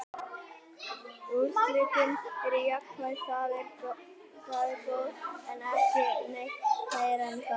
Úrslitin eru jákvæð, þau eru góð, en ekki neitt meira en það.